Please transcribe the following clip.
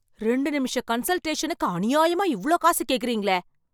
ரெண்டு நிமிஷ கன்ஸல்டேஷனுக்கு அநியாயமா இவ்ளோ காசு கேக்கறீங்களே!